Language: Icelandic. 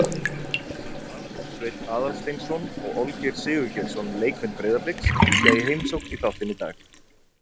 Arnór Sveinn Aðalsteinsson og Olgeir Sigurgeirsson, leikmenn Breiðabliks, kíkja í heimsókn í þáttinn í dag.